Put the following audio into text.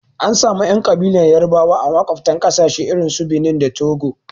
Anasamun ƴan ƙabilar yarabawa a maƙwaftan ƙasashe irinsu Benin da Togo.